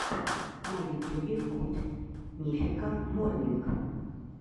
на ютюбе гуд мификал морнинг